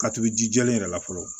Ka tugu ji jɛlen yɛrɛ la fɔlɔ